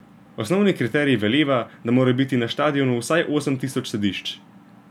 Osnovni kriterij veleva, da mora biti na štadionu vsaj osem tisoč sedišč.